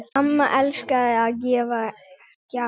Amma elskaði að gefa gjafir.